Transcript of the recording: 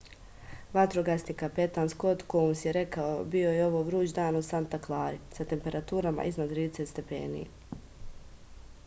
vatrogasni kapetan skot kouns je rekao bio je vruć dan u santa klari sa temperaturama iznad 30 stepeni